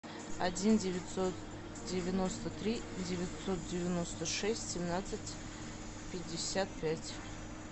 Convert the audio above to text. один девятьсот девяносто три девятьсот девяносто шесть семнадцать пятьдесят пять